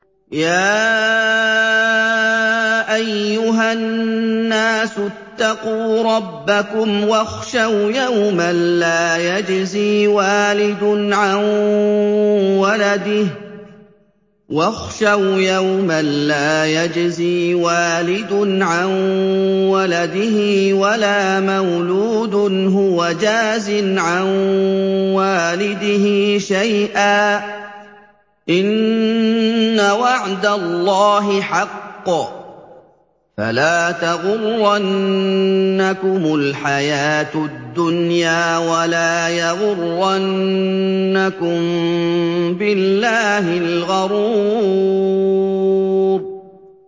يَا أَيُّهَا النَّاسُ اتَّقُوا رَبَّكُمْ وَاخْشَوْا يَوْمًا لَّا يَجْزِي وَالِدٌ عَن وَلَدِهِ وَلَا مَوْلُودٌ هُوَ جَازٍ عَن وَالِدِهِ شَيْئًا ۚ إِنَّ وَعْدَ اللَّهِ حَقٌّ ۖ فَلَا تَغُرَّنَّكُمُ الْحَيَاةُ الدُّنْيَا وَلَا يَغُرَّنَّكُم بِاللَّهِ الْغَرُورُ